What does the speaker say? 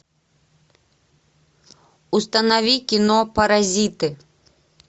установи кино паразиты